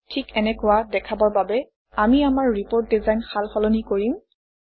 ঠিক এনেকুৱা দেখাবৰ বাবে আমি আমাৰ ৰিপৰ্ট ডিজাইন সাল সলনি কৰিম